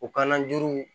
O kan na juruw